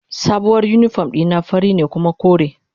Sabuwar uniform dina fari ne kuma kore.